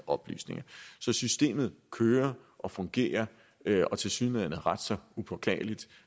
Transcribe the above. oplysninger så systemet kører og fungerer og tilsyneladende ret så upåklageligt